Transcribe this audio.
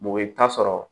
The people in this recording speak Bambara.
Bɔgɔ i bi taa sɔrɔ